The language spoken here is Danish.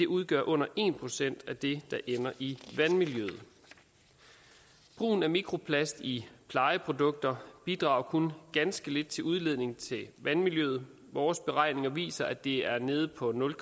udgør under en procent af det der ender i vandmiljøet brugen af mikroplast i plejeprodukter bidrager kun ganske lidt til udledning til vandmiljøet vores beregninger viser at det er nede på nul